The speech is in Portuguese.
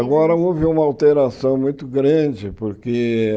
Agora houve uma alteração muito grande, porque...